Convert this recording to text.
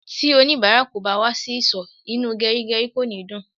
Ti onibara kò bá wà sì ìsò, inú gerigeri kò ní dùn